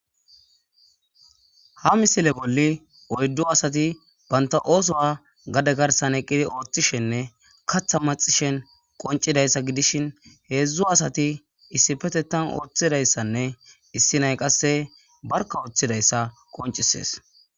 ha misile bolli oyddo asati banta oosowa gade garsan eqqidi ooththishenne katha maxishen qoncidayssa gidishin heedzdzu asati issi petetan ooththidayssanne issi nay qasse barka ooththidayssa qoncisees